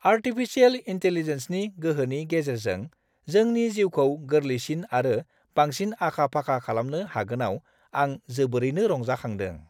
Artificial इन्टेलिजेन्सनि गोहोनि गेजेरजों जोंनि जिउखौ गोरलैसिन आरो बांसिन आखा-फाखा खालामनो हागोनाव आं जोबोरैनो रंजांखांदों।